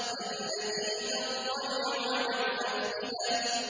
الَّتِي تَطَّلِعُ عَلَى الْأَفْئِدَةِ